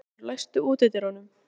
Sveinlaugur, læstu útidyrunum.